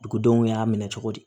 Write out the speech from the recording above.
Dugudenw y'a minɛ cogo di